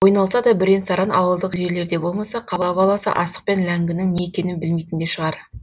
ойналса да бірен саран ауылдық жерлерде болмаса қала баласы асық пен ләңгінің не екенін білмейтін де шығар